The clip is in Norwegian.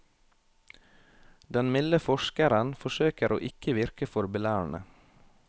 Den milde forskeren forsøker å ikke virke for belærende.